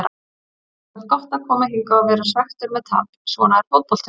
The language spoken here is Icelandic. Það er samt gott að koma hingað og vera svekktur með tap, svona er fótboltinn.